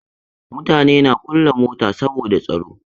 Mutane na kulle mota saboda tsaro.